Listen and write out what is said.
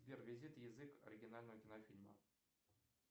сбер визит язык оригинального кинофильма